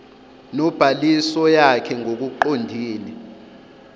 nobhaliso yakh ngokuqondile